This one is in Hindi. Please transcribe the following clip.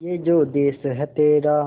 ये जो देस है तेरा